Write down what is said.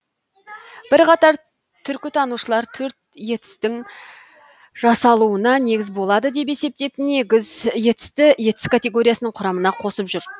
бірқатар түркітанушылар төрт етістің жасалуына негіз болады деп есептеп негіз етісті етіс категориясының құрамына қосып жүр